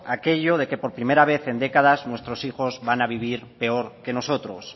aquello de lo que por primera vez en décadas nuestros hijos van a vivir peor que nosotros